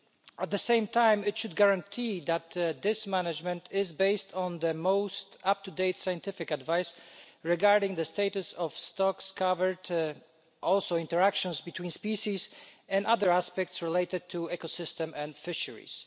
At the same time, it should guarantee that this management is based on the most up-to-date scientific advice regarding the status of stocks covered, and also interactions between species and other aspects related to the ecosystem and fisheries.